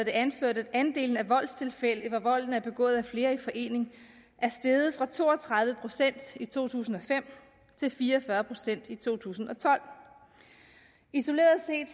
det anført at andelen af voldstilfælde hvor volden er begået af flere i forening er steget fra to og tredive procent i to tusind og fem til fire og fyrre procent i to tusind og tolv isoleret set